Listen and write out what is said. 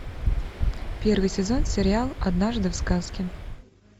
первый сезон сериал однажды в сказке